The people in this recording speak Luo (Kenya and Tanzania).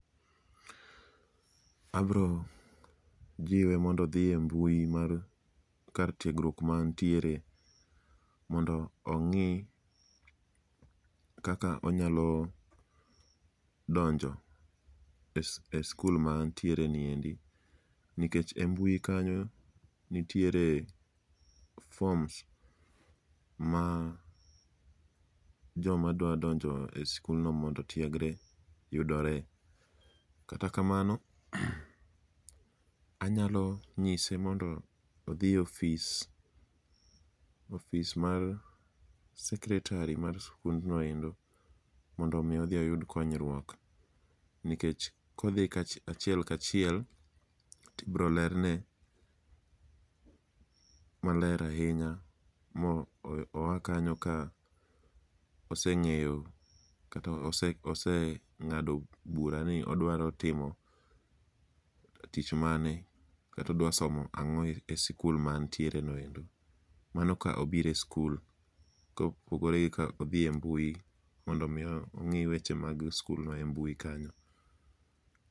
Abro jiwe mondo odhi e mbui mar kar tiegruok mantiere mondo ong'i kaka onyalo donjo e skul ma antiere niendi. Nikech e mbui kanyo nitiere forms ma joma dwadonjo e sikulno mondo otiegre yudore. Kata kamano, anyalo nyise mondo odhi e ofis, ofis mar sekretari mar skundno ero mondo omi odhi oyud konyruok. Nikech kodhi achiel kachiel tibro lerne maler ahinya mo oa kanyo ka oseng'eyo kata oseng'ado bura ni odwaro timo tich mane katodwa somo ang'o e sikul ma antiere no endo. Mano ka obire skul ko opogore gi ka odhi e mbui, mondo mi ong'i weche mag skulno e mbui kanyo.